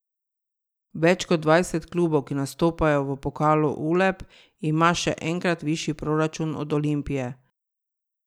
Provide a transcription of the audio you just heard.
Več kot dvajset klubov, ki nastopajo v pokalu Uleb, ima še enkrat višji proračun od Olimpije.